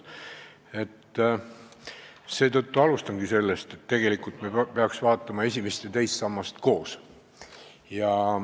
Ma alustan aga sellest, et tegelikult me peaks vaatama esimest ja teist sammast koos.